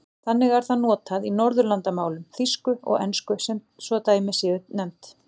Þannig er það notað í Norðurlandamálum, þýsku og ensku svo dæmi séu nefnd.